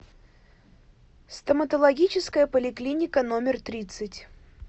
стоматологическая поликлиника номер тридцать